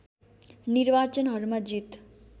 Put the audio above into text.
निर्वाचनहरूमा जित